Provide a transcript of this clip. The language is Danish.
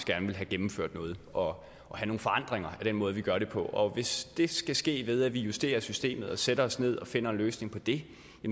gerne vil have gennemført noget og have nogle forandringer af den måde man gør det på og hvis det skal ske ved at man justerer systemet og sætter sig ned og finder en løsning på det